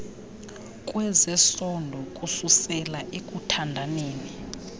kwezesondo kususela ekuthandaneni